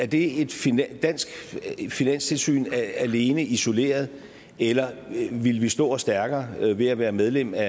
det et dansk finanstilsyn alene og isoleret eller ville vi stå os stærkere ved at være medlem af